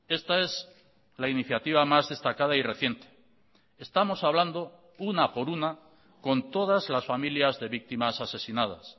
esta es la iniciativa más destacada y reciente estamos hablando una por una con todas las familias de víctimas asesinadas